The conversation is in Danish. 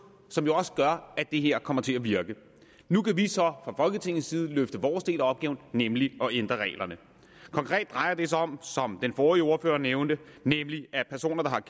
som også gør at det her kommer til at virke nu kan vi så fra folketingets side løfte vores del af opgaven nemlig at ændre reglerne konkret drejer det sig om som den forrige ordfører nævnte at personer der